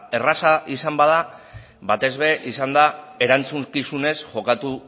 erreza izan bada batez ere izan da erantzukizunez jokatu